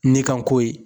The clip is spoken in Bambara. Ne ka ko ye